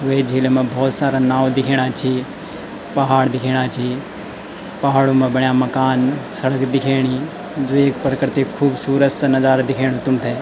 वे झील मा बहौत सारा नाव दिखेणा छी पहाड़ दिखेणा छी पहाड़ो मा बण्या मकान सर्ग दिखेणी जू ये प्रकर्ति खुबसूरत सा नजारा दिखेणु तुम्थे।